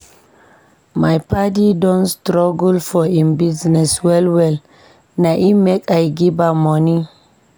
My paddy don struggle for im business well-well, na im make I give am moni.